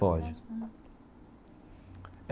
Pode.